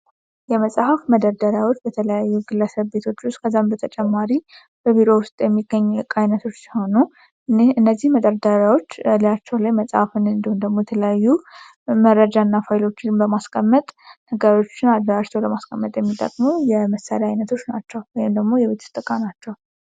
የመጽሐፍ መደርደሪያዎች በተለያዩ ግለሰቤ ቤቶች ከዛ በተጨማሪ በቢሮ ውስጥ የሚገኙ ቃሉ እኔ እነዚህ መደርደሪያዎች ሊያቸው ላይ መጽሐፉን እንደተለያዩ መመረጃና በማስቀመጥ ነገሮችን አድራሻ የመሳሪያ አይነቶች ናቸው ወይንም ደግሞ ዕቃ